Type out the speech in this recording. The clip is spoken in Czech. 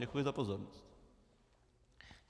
Děkuji za pozornost.